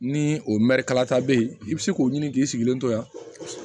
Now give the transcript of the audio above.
Ni o mɛri kalata bɛ yen i bɛ se k'o ɲini k'i sigilen to yan